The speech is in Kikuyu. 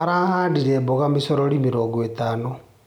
Arahandire mboga micorori mĩrongo itano.